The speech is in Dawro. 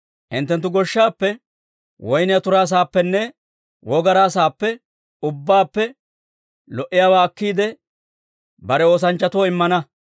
Hinttenttu goshshaappe, woyniyaa turaa saappenne wogaraa saappe ubbaappe lo"iyaawaa akkiide, bare oosanchchatoo immana.